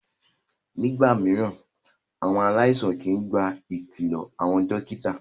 Ní ìgbà mìíràn, àwọn aláìsàn kìí gba ìkìlọ àwọn dókítà.